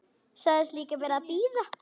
Sagðist líka vera að bíða.